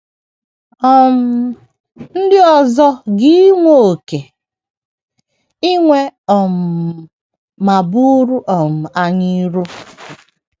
um Ndị ọzọ ga iwe oké iwe um ma buru um anyị iro.